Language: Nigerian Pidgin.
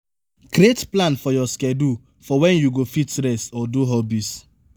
create plan for your schedule for when you go fit rest or do hobbies